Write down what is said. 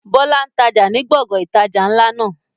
Bọlá ń tája ni gbọ̀ngàn ìtajà ńlá náà